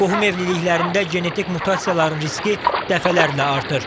Qohum evliliklərində genetik mutasiyaların riski dəfələrlə artır.